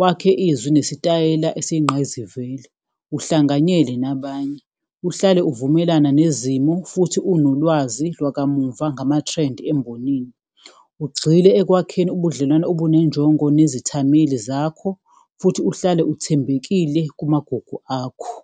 wakhe izwi nesitayela esiyingqayizivele, uhlanganyele nabanye, uhlale uvumelana nezimo futhi unolwazi lwakamuva ngama-trend embonini. Ugxile ekwakheni ubudlelwane obunenjongo nezithameli zakho, futhi uhlale uthembekile kumagugu akho.